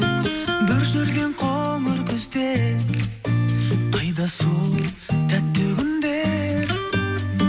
бір жүрген қоңыр күзде қайда сол тәтті күндер